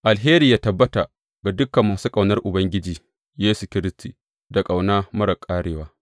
Alheri yă tabbata ga dukan masu ƙaunar Ubangiji Yesu Kiristi da ƙauna marar ƙarewa.